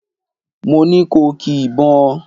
Mo ni ko ki ìbọn!